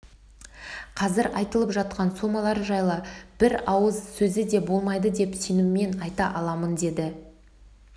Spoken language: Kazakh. қазір айтылып жатқан сомалар жайлы бір ауыз сөз де болмайды деп сеніммен айта аламын деді